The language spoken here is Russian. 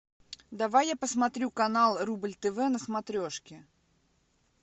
давай я посмотрю канал рубль тв на смотрешке